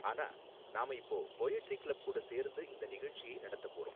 ஆனா, நாம இப்போ போயட்ரி கிளப் கூட சேர்ந்து இந்த நிகழ்ச்சியை நடத்த போறோம்.